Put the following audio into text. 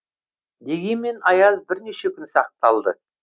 дегенмен аяз бірнеше күн сақталды